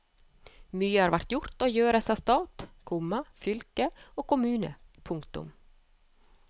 Mye har vært gjort og gjøres av stat, komma fylke og kommune. punktum